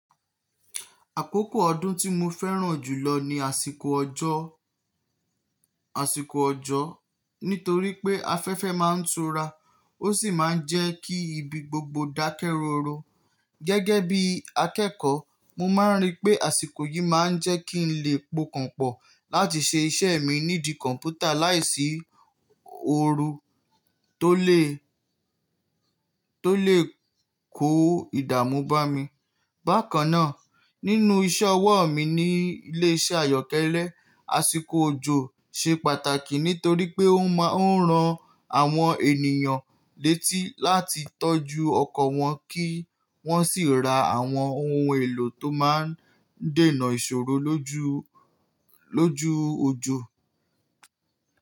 Àkókò ọdún tí mo fẹ́ràn jùlọ ni àsìkò ọjọ́, àsìkò ọjọ́ nítorí pé afẹ́fẹ́ máa ń tura ó sì máa ń jẹ́ kí ibi gbogbo dákẹ́ rọ́ro. Gẹ́gẹ́ bí akẹ́kọ̀ọ́, mo máa ń rí pé àsìkò yìí máa ń jẹ́ kí n lè pokànpọ̀ láti ṣe iṣẹ́ mi nídi kọ̀npútà láìsí ooru tó lè, tó lè kó ìdààmú bá mi. Bákan náà, nínú iṣẹ́ ọwọ́ mi ní ilé iṣẹ́ àyọ́kẹ́lẹ́, àsìkò òjò ṣe pàtàkì nítorí pé ó máa ń ran àwọn ènìyàn létí láti tọ́jú ọkọ̀ wọn kí wọ́n sì ra àwọn ohun èlò tó máa ń dènà ìṣòro lójú, lójú òjò.